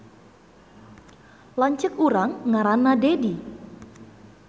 Lanceuk urang ngaranna Dedi